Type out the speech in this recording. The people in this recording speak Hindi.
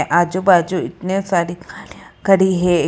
आजू बाजू इतने सारी गाड़ियां खड़ी है।